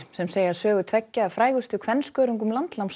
sem segja sögu tveggja af frægustu kvenskörungum